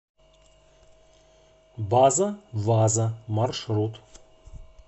база ваза маршрут